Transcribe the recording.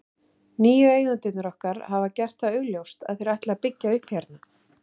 Nýju eigendurnir okkar hafa gert það augljóst að þeir ætli að byggja upp hérna.